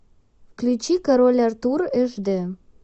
включи король артур эш дэ